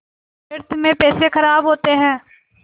व्यर्थ में पैसे ख़राब होते हैं